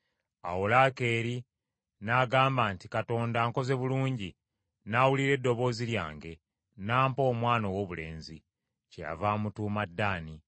Awo Laakeeri n’agamba nti, “Katonda ankoze bulungi, n’awulira eddoboozi lyange, n’ampa omwana owoobulenzi.” Kyeyava amutuuma Ddaani.